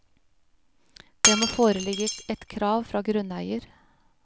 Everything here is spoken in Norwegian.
Det må foreligge et krav fra grunneier.